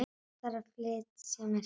Þarf að flýta mér heim.